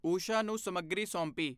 ਉਸ਼ਾ ਨੂੰ ਸਮੱਗਰੀ ਸੌਂਪੀ।